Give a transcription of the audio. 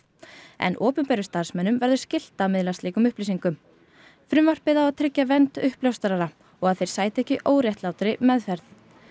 en opinberum starfsmönnum verður skylt að miðla slíkum upplýsingum frumvarpið á að tryggja vernd uppljóstrara og að þeir sæti ekki óréttlátri meðferð